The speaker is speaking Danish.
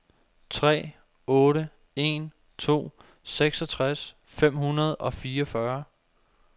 tre otte en to seksogtres fem hundrede og fireogfyrre